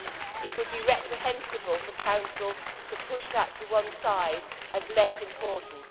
It would be reprehensible for the Council to push that to one side as less important.